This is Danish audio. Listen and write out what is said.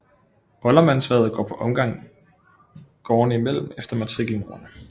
Oldermandshvervet går på omgang gårdene imellem efter matrikelnumrene